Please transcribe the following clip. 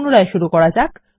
পুনরায় শুরু করে যাক